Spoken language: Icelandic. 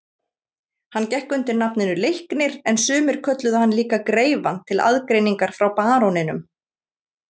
Hann gekk undir nafninu Leiknir en sumir kölluðu hann líka greifann til aðgreiningar frá baróninum.